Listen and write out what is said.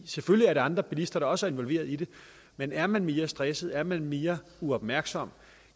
selvfølgelig er der andre bilister der også er involveret i det men er man mere stresset er man mere uopmærksom